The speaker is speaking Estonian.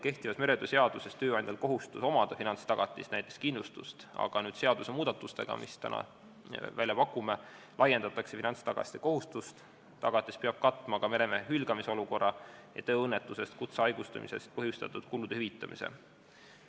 Kehtiva meretöö seaduse järgi on tööandjal kohustus omada finantstagatist, näiteks kindlustust, aga seadusemuudatustega, mille me täna välja pakume, laiendatakse finantstagatise kohustust, tagatis peab katma ka meremehe hülgamise olukorra ning tööõnnetusest ja kutsehaigestumisest põhjustatud kulude hüvitamise.